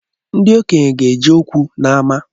Ndi okenye ga-eje okwu n’ama